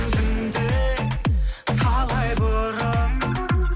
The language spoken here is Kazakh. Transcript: түнде талай бұрын